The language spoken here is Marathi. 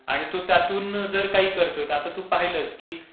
आणि तो त्यातून तो जर काही करतोय, आता तू पहिलं की